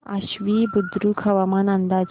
आश्वी बुद्रुक हवामान अंदाज